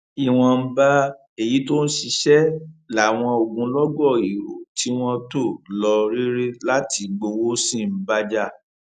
ìwọnba èyí tó ń ṣiṣẹ làwọn ogunlọgọ èrò tí wọn tò lọ rere láti gbowó sí ń bá jà